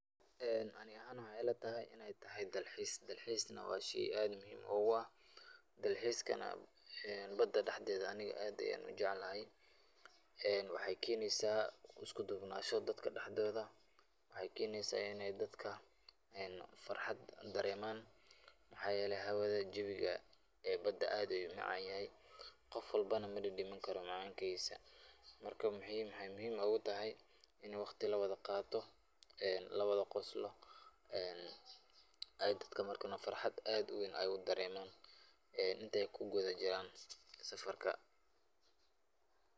Ani ahaan waxeey ila tahay inaay tahay dalxiis, dalxiis waa sheey aad muhiim noogu ah, daxiiskana bada dexdeeda aniga aad ayaan ujeclahay, waxeey keneysa isku duubnasho dadka dexdooda, waxeey keneysa inaay dadka farxad dareeman, waxaa yeele hawada jawiga bada aad ayuu umacan yahay, qof walbona madadamin karo macaankiisa, marka waxeey muhiim ugu tahay in waqti lawada qaato, lawada qoslo,,aay dadka farxad aad uweyn wada dareemaan, inteey kugudub jiraan safarka.